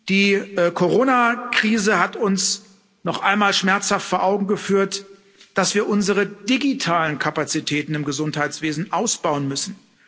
Die Corona Krise hat uns noch einmal schmerzhaft vor Augen geführt, dass wir unsere digitalen Kapazitäten im Gesundheitswesen ausbauen müssen.